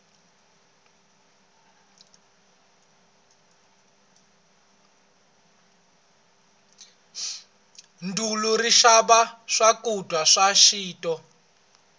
dulu ri tshama swakudya swa xinto